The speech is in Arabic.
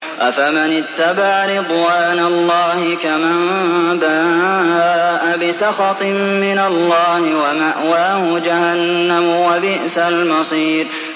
أَفَمَنِ اتَّبَعَ رِضْوَانَ اللَّهِ كَمَن بَاءَ بِسَخَطٍ مِّنَ اللَّهِ وَمَأْوَاهُ جَهَنَّمُ ۚ وَبِئْسَ الْمَصِيرُ